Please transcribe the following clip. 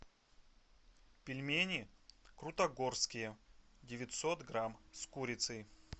пельмени крутогорские девятьсот грамм с курицей